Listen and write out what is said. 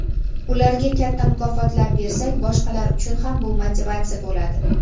Ularga katta mukofotlar bersak boshqalar uchun ham bu motivatsiya bo‘ladi.